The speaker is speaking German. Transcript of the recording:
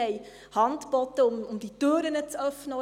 Wir haben Hand geboten, um diese Türen beim Astra zu öffnen.